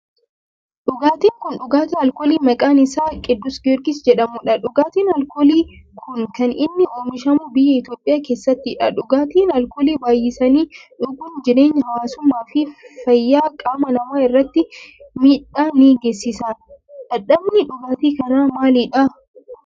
Dhugaatin kun dhugaatii alkoolii maqaan isaa Qiddus Giyoorgis jedhamu dha. Dhugaatiin alkoolii kun kan inni oomishamu biyya Itiyoophiyaa keessattidha. Dhugaatii alkoolii baayyisanii dhuguun jireenya hawaasummaa fi fayyaa qaama namaa irratti miidhaa ni geessisa. Dhadhamni dhugaatii kanaa maalidha?